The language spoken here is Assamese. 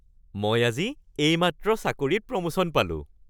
মই আজি এইমাত্ৰ চাকৰিত প্ৰমোশ্যন পালোঁ। (কৰ্মচাৰী ১)